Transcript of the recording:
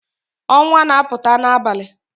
Onwa na-aputa n'abali